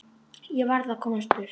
Ég varð að komast í burtu.